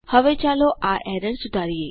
હવે ચાલો આ એરર સુધારીએ